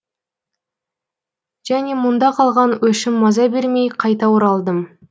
және мұнда қалған өшім маза бермей қайта оралдым